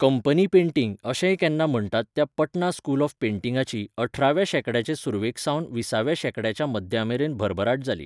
Company painting' अशेंय केन्ना म्हण्टात त्या पटना स्कूल ऑफ पेंटिंगाची, अठराव्या शेंकड्याचे सुरवेकसावन विसाव्या शेंकड्याच्या मध्यामेरेन भरभराट जाली.